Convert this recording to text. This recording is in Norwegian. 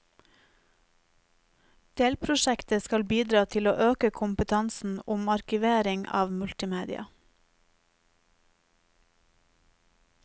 Delprosjektet skal bidra til å øke kompetansen om arkivering avmultimedia.